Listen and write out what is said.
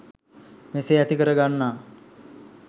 මෙසේ ඇති කර ගන්නා